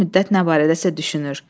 Bir müddət nə barədəsə düşünür.